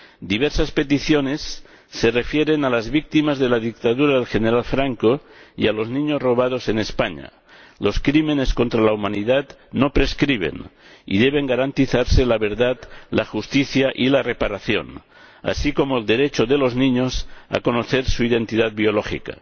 Diversas peticiones se refieren a las víctimas de la dictadura del general Franco y a los niños robados en España los crímenes contra la humanidad no prescriben y deben garantizarse la verdad, la justicia y la reparación, así como el derecho de los niños a conocer su identidad biológica.